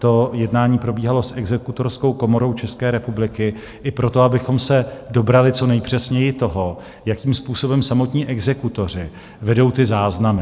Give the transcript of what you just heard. To jednání probíhalo s Exekutorskou komorou České republiky i proto, abychom se dobrali co nejpřesněji toho, jakým způsobem samotní exekutoři vedou ty záznamy.